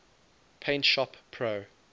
paint shop pro